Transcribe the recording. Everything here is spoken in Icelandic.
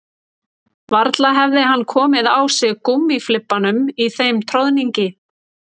Varla hefði hann komið á sig gúmmíflibbanum í þeim troðningi